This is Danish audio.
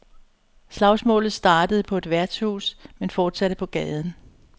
Slagsmålet startede på et værtshus, men fortsatte på gaden.